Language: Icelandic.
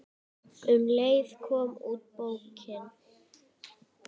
Um leið kom út bókin